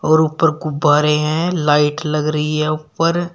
और ऊपर गुब्बारे हैं लाइट लग रही है ऊपर।